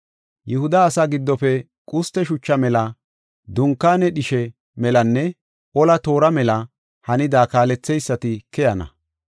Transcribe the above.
Yihuda asaa giddofe quste shuchaa mela, dunkaane dhishe melanne ola toora mela hanida kaaletheysati keyana.